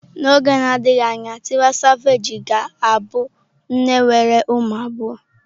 N'oge na-adịghị anya Tiwa Savage ga-abụ nne nwere ụmụ abụọ.